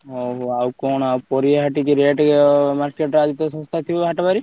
ହଉ ଆଉ କଣ ଆଉ ପାରିବା ହାଟ କି rate ଆଜିତ market ରେ ଶସ୍ତା ଥିବ ହାଟ ବାରି?